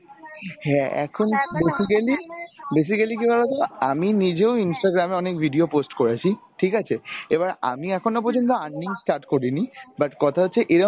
হ্যাঁ এখন basically basically কি বলা যায় আমি নিজেও Instagram এ অনেক video post করেছি ঠিক আছে এবার আমি এখনও পর্যন্ত earning করিনি but কথা হচ্ছে এরম